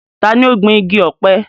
ta ni ó gbin igi ọ̀pẹ?